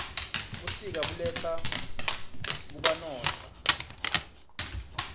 busika buletsa kubanotza